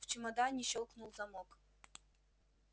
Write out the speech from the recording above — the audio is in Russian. в чемодане щёлкнул замок